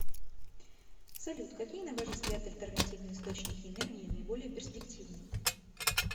салют какие на ваш взгляд альтернативные источники энергии наиболее перспективные